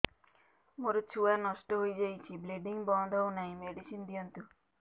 ମୋର ଛୁଆ ନଷ୍ଟ ହୋଇଯାଇଛି ବ୍ଲିଡ଼ିଙ୍ଗ ବନ୍ଦ ହଉନାହିଁ ମେଡିସିନ ଦିଅନ୍ତୁ